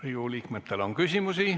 Riigikogu liikmetel on küsimusi.